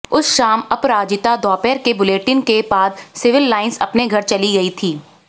उस शाम अपराजिता दोपहर के बुलेटिन के बाद सिविल लाइंस अपने घर चली गई थी